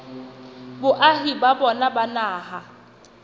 boahi ba bona ba naha